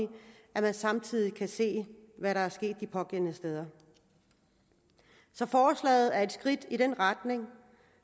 at man samtidig kan se hvad der er sket de pågældende steder så forslaget er et skridt i den retning